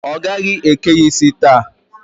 Ọ gaghị eke ya isi taa.